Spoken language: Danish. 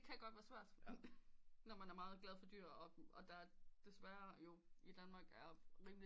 Det kan godt være svært når man er meget glad for dyr og der desværre jo i Danmark er rimelig